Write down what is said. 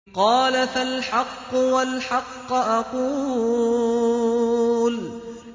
قَالَ فَالْحَقُّ وَالْحَقَّ أَقُولُ